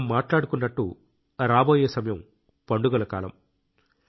మనం మాట్లాడుకున్నట్టు రాబోయే సమయం పండుగల కాలం